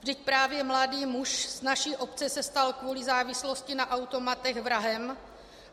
Vždyť právě mladý muž z naší obce se stal kvůli závislosti na automatech vrahem.